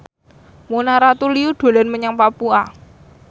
Mona Ratuliu dolan menyang Papua